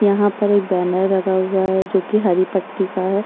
यहाँ पर एक बैनर लगा हुआ है जोकि हरी पट्टी का है।